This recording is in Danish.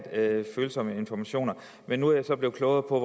følsomme informationer men nu er jeg så blevet klogere på